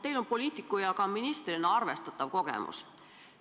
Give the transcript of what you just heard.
Teil on poliitiku ja ka ministrina arvestatav kogemus.